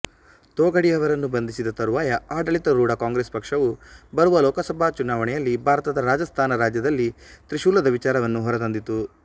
ತೊಗಾಡಿಯಾರನ್ನು ಬಂಧಿಸಿದ ತರುವಾಯ ಆಡಳಿತಾರೂಢ ಕಾಂಗ್ರೆಸ್ ಪಕ್ಷವು ಬರುವ ಲೋಕಸಭಾ ಚುನಾವಣೆಯಲ್ಲಿ ಭಾರತದ ರಾಜಸ್ತಾನ ರಾಜ್ಯದಲ್ಲಿ ತ್ರಿಶೂಲದ ವಿಚಾರವನ್ನು ಹೊರತಂದಿತು